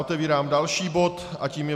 Otevírám další bod a tím je